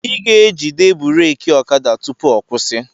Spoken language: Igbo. I ga-ejide buraaki ọkada tupu ọ kwusi